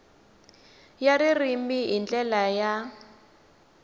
ya ririmi hi ndlela ya